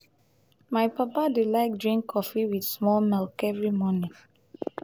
my papa dey like drink cofee wit small milk every morning.